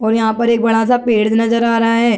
और यहाँ पर एक बड़ा सा पेड़ नज़र आ रहा है |